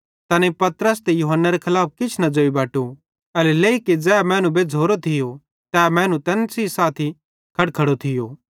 तैनेईं पतरस ते यूहन्नारे खलाफ किछ न ज़ोई बटु एल्हेरेलेइ कि ज़ै मैनू बेज़्झ़ोरो थियो तै मैनू तैन सेइं साथी खड़खड़ो थियो